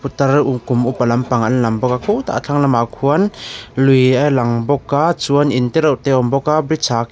putar um kum upa lampang an lam bawk a khutah a thlang lamah khuan lui a lang bawk a chuan in tereuh te a awm bawk a bridge ah kh--